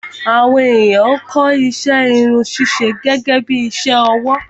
Àwọn ènìyàn ń kọ́ iṣẹ́ Irun ṣíṣe gẹ́gẹ́bí iṣẹ́ ọwọ́